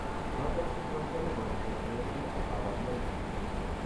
Rotor syndrome kebimoni ketien gee ak kabarunaik